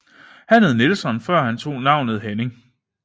Han hed Nilsson før han tog navnet Henning